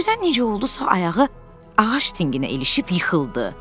Birdən necə oldusa ayağı ağac dinginə ilişib yıxıldı.